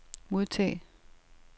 modtag